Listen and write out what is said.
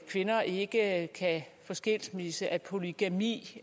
kvinder ikke kan få skilsmisse at polygami